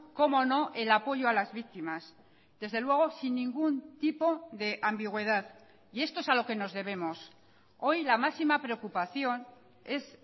cómo no el apoyo a las víctimas desde luego sin ningún tipo de ambigüedad y esto es a lo que nos debemos hoy la máxima preocupación es